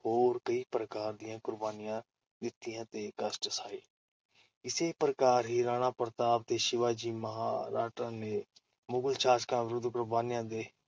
ਹੋਰ ਕਈ ਪ੍ਰਕਾਰ ਦੀਆਂ ਕੁਰਬਾਨੀਆਂ ਦਿੱਤੀਆਂ ਤੇ ਕਸ਼ਟ ਸਹੇ ਇਸੇ ਪ੍ਰਕਾਰ ਹੀ ਰਾਣਾ ਪ੍ਰਤਾਪ ਤੇ ਸਿਵਾ ਜੀ ਮਰਹੱਟਾ ਦੇ ਮੁਗ਼ਲ ਸ਼ਾਸਕਾਂ ਵਿਰੁੱਧ ਕੁਰਬਾਨੀਆਂ